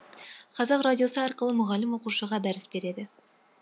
қазақ радиосы арқылы мұғалім оқушыға дәріс береді